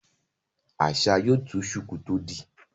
Asa yóò tú shuku tó dì